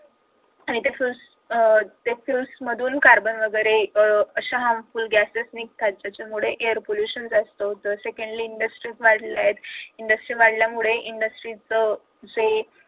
आणि ते fuels त्या fuels मधून कार्बन वगैरे असे harmful gases निघतात ज्याच्यामुळे air pollution जास्त होत सेकंडरी industries वाढल्यात industry वाढल्यामुळे industry च जे